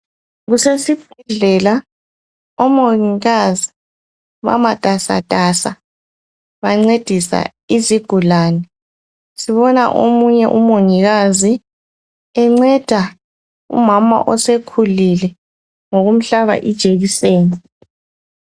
Kusesibhedlela. Omongikazi bamatasatasa. Bancedisa izigulane. Sibona omunye umongikazi, enceda umama osekhulile, ngokumhlaba ijekiseni.